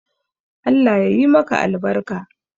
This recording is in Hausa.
Allah yayi maka albarka.